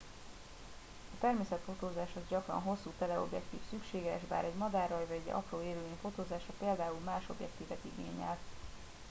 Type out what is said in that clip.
a természetfotózáshoz gyakran hosszú teleobjektív szükséges bár egy madárraj vagy egy apró élőlény fotózása például más objektívet igényel